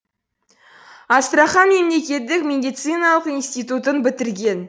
астрахан мемлекеттік медициналық институтын бітірген